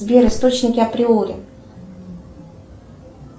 сбер источники априори